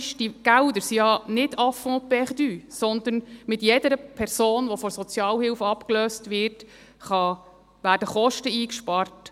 Diese Gelder sind ja nicht à fonds perdu, sondern mit jeder Person, die von der Sozialhilfe abgelöst wird, werden Kosten eingespart.